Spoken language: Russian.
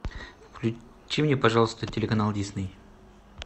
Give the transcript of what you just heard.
включи мне пожалуйста телеканал дисней